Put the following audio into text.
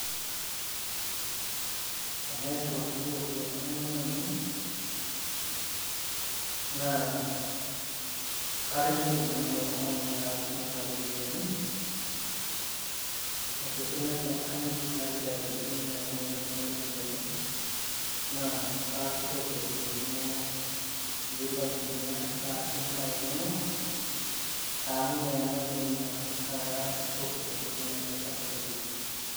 Tenaa airiwakini irropiyiani neme nainei. Naa karrinyioki nanu ilo tung`ani nena ropiyiani tenkoitoi natii enkanyit. Naliki ajoki mme nainei kuna ropiyiani naa kaashukoki irropiyiani inonok pee ilo aitumia aasie imbaa inonok. Amu ime nainei naa naa kaashukoki tenkoitoi natii enkanyit oleng.